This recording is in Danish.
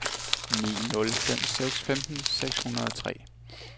ni nul fem seks femten seks hundrede og tre